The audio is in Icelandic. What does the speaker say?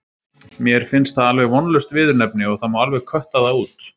Mér finnst það alveg vonlaust viðurnefni og það má alveg kötta það út.